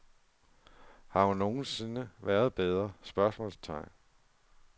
Har hun nogen sinde været bedre? spørgsmålstegn